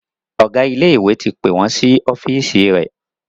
Ọgá ilé ìwé ti pé wón sí ọ́fíìsì rẹ